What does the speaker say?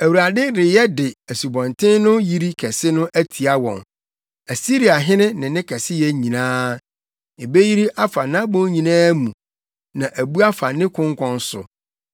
Awurade reyɛ de Asubɔnten no yiri kɛse no atia wɔn, Asiriahene ne ne kɛseyɛ nyinaa. Ebeyiri afa nʼabon nyinaa mu, na abu afa ne konkɔn so